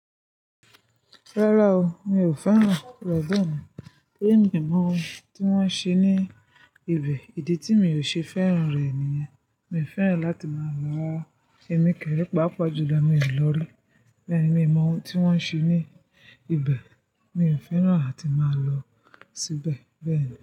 Rárá o, mi ò fẹ́ràn Lebanon tori mí mo mọ ohun tí wón ń ṣe ní ibẹ̀. Ìdí tí mi ò ṣe fẹ́ràn rẹ̀ nìyẹn. Mi ò fẹ́ràn láti máa lo ra rà Ẹ̀mí kẹ́rẹ́, pàápàá jùlọ mi ò lọ rí. Bẹ́ẹ̀ ni, mi mọ ohun tí wón ń ṣe ní ibẹ̀, mi ò fẹ́ràn àti máa lọ síbẹ̀ bẹ́ẹ̀ ni.